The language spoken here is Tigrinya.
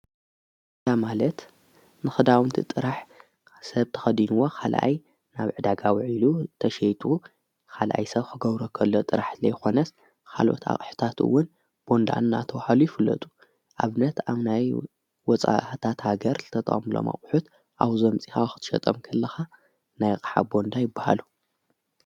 እላ ማለት ንኽዳዉንቲ ጥራሕ ሰብ ተኸዲንዎ ኻልኣይ ናብ ዕዳጋውዕ ኢሉ ተሸይጡ ኻልኣይ ሰብ ኽጐብረከሎ ጥራሕት ለይኾነስ ኻሉት ኣቕሕታትውን ቦንዳን እናተዉኃሉ ይፍለጡ ኣብ ነት ኣምናይ ወፃህታት ሃገር ዘተጣዖምሎ ማቝሑት ኣው ዘምፂ ኻዋኽትሸጠም ክለኻ ናይ ሓ ቦንዳ ይበሃሉ።